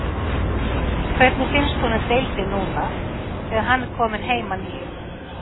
Hvernig finnst honum deildin núna þegar hann er kominn heim að nýju?